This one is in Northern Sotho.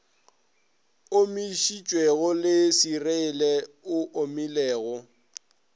omišitšwego le seriele e omilego